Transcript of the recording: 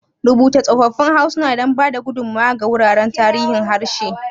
Rubuta tsoffin harsuna don ba da gudummawa ga wuraren tarihin harshe.